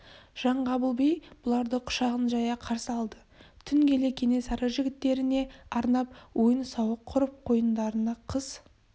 жаңғабыл би бұларды құшағын жая қарсы алды түн келе кенесары жігіттеріне арнап ойын-сауық құрып қойындарына қыз